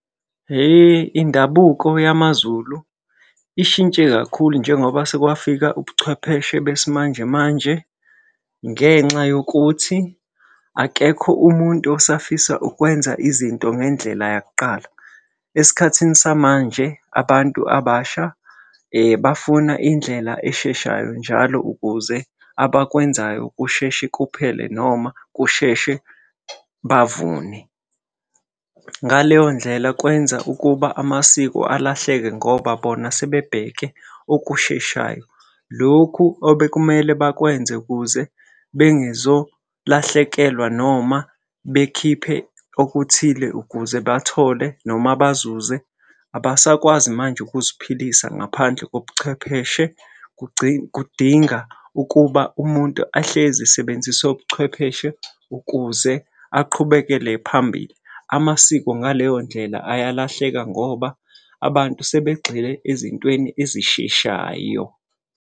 Hhe indabuko yamaZulu ishintshe kakhulu njengoba sekwafika ubuchwepheshe besimanje manje, ngenxa yokuthi akekho umuntu osafisa ukwenza izinto ngendlela yakuqala. Esikhathini samanje abantu abasha bafuna indlela esheshayo njalo ukuze abakwenzayo kusheshe kuphele noma kusheshe bavune. Ngaleyo ndlela kwenza ukuba amasiko alahleke ngoba bona sebebheke okusheshayo. Lokhu obekumele bakwenze ukuze bengezolahlekelwa noma bekhiphe okuthile ukuze bathole noma bazuze, abasakwazi manje ukuziphilisa ngaphandle kobuchwepheshe kudinga ukuba umuntu ahlezi esebenzise ubuchwepheshe ukuze aqhubekele phambili. Amasiko ngaleyo ndlela ayalahleka ngoba abantu sebegxile ezintweni ezisheshayo.